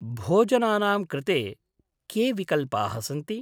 भोजनानाम् कृते के विकल्पाः सन्ति?